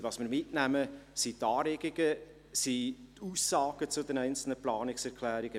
Was wir mitnehmen, sind die Anregungen und Aussagen zu den einzelnen Planungserklärungen.